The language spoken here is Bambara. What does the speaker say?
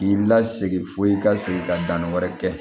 K'i lasegin fo i ka segin ka danni wɛrɛ kɛ